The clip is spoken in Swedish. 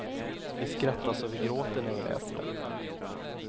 Vi skrattar så vi gråter när vi läser den.